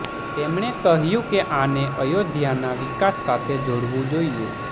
તેમણે કહ્યુ કે આને અયોધ્યાના વિકાસ સાથે જોડવુ જોઈએ